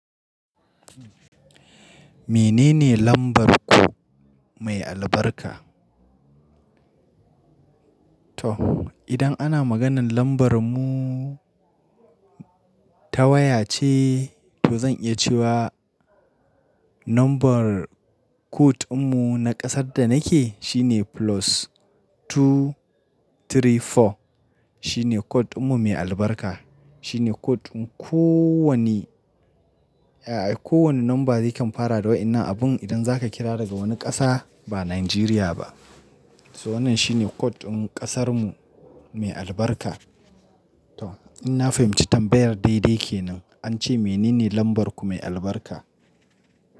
Menene lambar ku mai albarka? To idan ana maganan lambar mu ta waya ce, to zan iya cewa number code mun na kasar da nake shine plus two three four. Shine code ɗinmun mai albarka. Shine code in ko wane, a'a ko wane number ya kan fara da wa'ennan abun idan zaka kira daga wani ƙasa ba Nigeria ba. To wannan shine code in ƙasarmu mai albarka. To in na fahimci tambayar daidai kenan an ce menene lambar ku mai albarka?